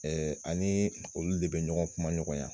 Ɛɛ ani olu de be ɲɔgɔn kuma ɲɔgɔnya